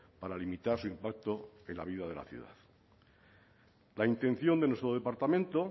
para limitar su impacto en la vida de la ciudad la intención de nuestro departamento